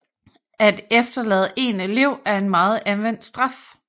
At efterlade en elev er en meget anvendt straf